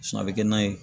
a bɛ kɛ nan ye